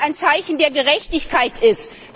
Weil es ein Zeichen der Gerechtigkeit ist!